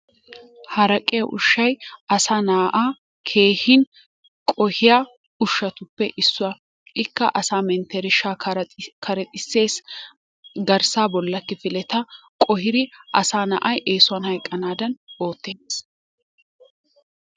Haraqqiya ushshay asaa na'aa keehi qohhiya ushatuppe issuwa. Ikka asaa mentershshaa karexxissees, garssaa bollaa kifileta qohidi asaa na'ay eesuwan hayqqanaadan ootees.